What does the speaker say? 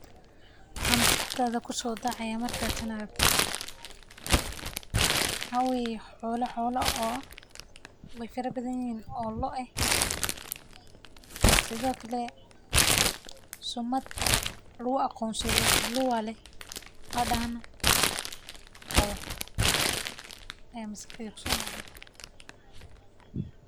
Waaxa maskaxdadha kusodacaya marka tan aragto, mxaa weyeh xolo, xolohas oo way farabadhanyihin oo loo eh sidiokale sumad lagu aqonsado loo aleh an dahnah qabo aya maskax deyda kusodaca.